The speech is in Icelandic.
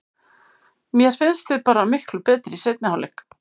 Mér fannst við bara miklu betri í seinni hálfleik.